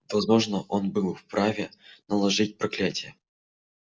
возможно он был вправе наложить проклятие